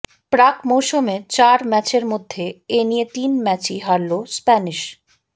প্রাক মৌসুমে চার ম্যাচের মধ্যে এ নিয়ে তিন ম্যাচেই হারল স্প্যানিশ